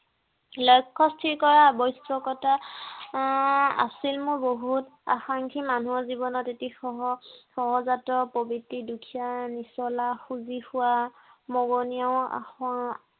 লক্ষ্য় স্থিৰ কৰা আৱশ্য়কতা আহ আছিল মোৰ বহুত। আকাংক্ষী মানুহৰ জীৱনত এটি সহ~সহজাত প্ৰবৃ্ত্তি। দুখীয়া, নিচলা, খুজি খোৱা, মগনীয়াও আহ